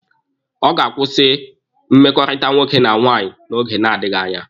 Ọ ga-akwụsị mmekọrịta nwoke na nwaanyị n'oge na-adịghi anya